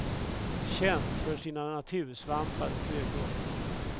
Känt för sina natursvampar och kryddor.